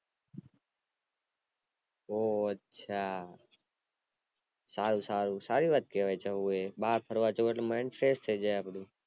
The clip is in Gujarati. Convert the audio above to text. ઓ અચ્છા સારું સારું સારી વાત કેવાય જવું એ બાર ફરવા જાઓ એટલે mind fresh થય જાય અપ્ડું